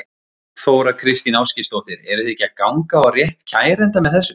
Þóra Kristín Ásgeirsdóttir: Eru þið ekki að ganga á rétt kærenda með þessu?